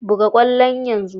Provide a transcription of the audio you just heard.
Buga kwallon yanzu!